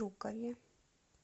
жукове